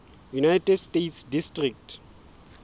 united states district